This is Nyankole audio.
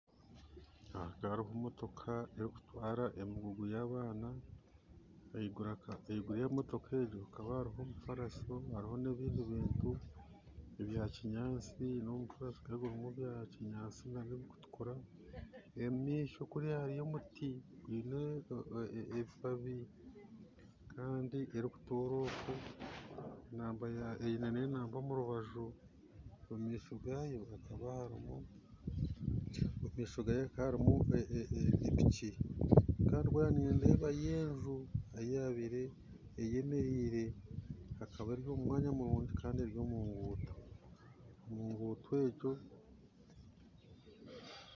Aha hariho motoka erikutwara emigugu y'abaana, ahaiguru ya motoka egi hakaba hariho omufaraso hariho n'ebindi ebintu ebya kinyanshi na omufaraso nagwo gwa kinyashi nabyo bikutukura. Omu maisho hariyo omuti gwine ebibabi kandi erikutoora oku, eine enamba omu rubaju. omu maisho gaayo hakaba harimu piki kandi nindebayo enju eyabaire eyemeriire hakaba hariho mwanya murungi kandi eri omu nguuto, mu nguuto egi